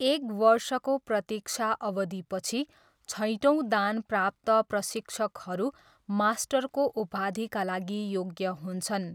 एक वर्षको प्रतिक्षा अवधिपछि, छैटौँ दान प्राप्त प्रशिक्षकहरू मास्टरको उपाधिका लागि योग्य हुन्छन्।